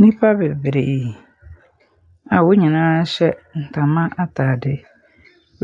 Nipa beberee aa wɔnyinaa hyɛ ntama ataade